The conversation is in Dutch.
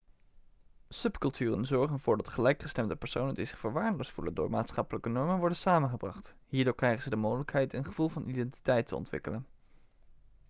subculturen zorgen ervoor dat gelijkgestemde personen die zich verwaarloosd voelen door maatschappelijke normen worden samengebracht hierdoor krijgen ze de mogelijkheid een gevoel van identiteit te ontwikkelen